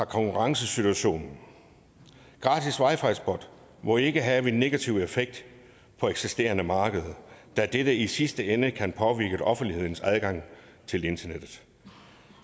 konkurrencesituation gratis wi fi hotspots må ikke have en negativ effekt på eksisterende markeder da dette i sidste ende kan påvirke offentlighedens adgang til internettet